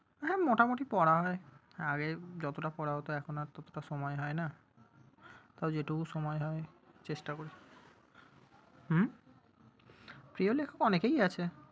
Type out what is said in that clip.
হ্যাঁ মোটামুটি পড়া হয়। আগে যতটা পড়া হতো, এখন ততোটা সময় হয়না। তবে যেটুকু সময় হয় চেষ্টা করি। হুম? প্রিয় লেখক অনেকেই আছে।